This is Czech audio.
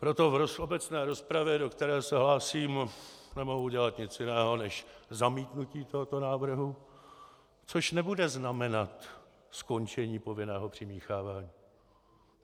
Proto v obecné rozpravě, do které se hlásím, nemohu udělat nic jiného, než zamítnutí tohoto návrhu, což nebude znamenat skončení povinného přimíchávání.